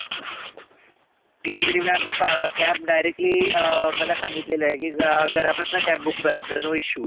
khejri ma'am cab directly अं मला सांगितलेलं आहे की रा घरापसनं cab book करत जा no issue